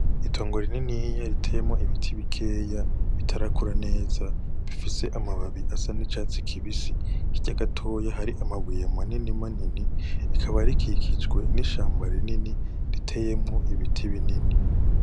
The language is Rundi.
Itongo rininiya riteyemwo ibiti bikeya bitarakura neza, bifise amababi asa n'icatsi kibisi, hirya gatoyi hari amabuye manini manini, rikaba rikikijwe n'ishamba rinini riteyemwo ibiti binini.